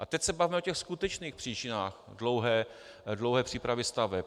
A teď se bavme o těch skutečných příčinách dlouhé přípravy staveb.